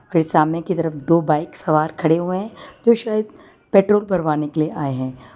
फिर सामने की तरफ दो बाइक सवार खड़े हुए हैं जो शायद पेट्रोल भरवाने के लिए आए हैं।